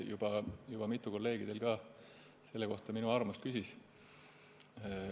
Juba mitu teie kolleegi on selle kohta minu arvamust ka küsinud.